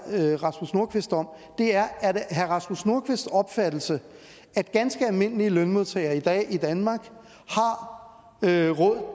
rasmus nordqvist om er er det herre rasmus nordqvists opfattelse at ganske almindelige lønmodtagere i danmark har råd